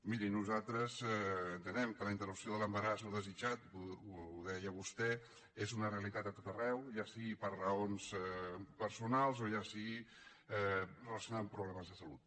miri nosaltres entenem que la interrupció de l’embaràs no desitjat ho deia vostè és una realitat a tot arreu ja sigui per raons personals o ja sigui relacionat amb problemes de salut